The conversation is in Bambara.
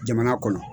Jamana kɔnɔ